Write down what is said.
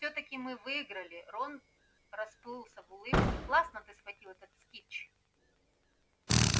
всё-таки мы выиграли рон расплылся в улыбке классно ты схватил этот снитч